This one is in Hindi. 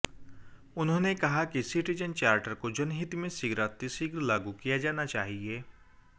उन्होंने कहा कि सिटीजन चार्टर को जनहित में शीघ्रातिशीघ्र लागू किया जाना चाहिए